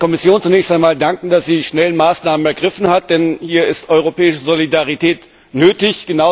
Ich darf der Kommission zunächst einmal danken, dass sie schnell Maßnahmen ergriffen hat. Denn hier ist europäische Solidarität nötig.